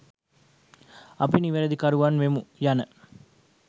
අපි නිවැරදිකරුවන් වෙමු යන